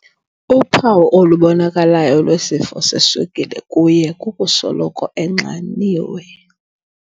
Uphawu olubonakalayo lwesifo seswekile kuye kukusoloko enxaniwe.